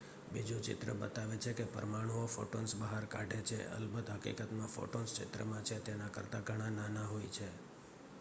બીજું ચિત્ર બતાવે છે કે પરમાણુઓ ફોટોન્સ બહાર કાઢે છે અલબત હકીકતમાં ફોટોન્સ ચિત્રમાં છે તેના કરતા ઘણા નાના હોય છે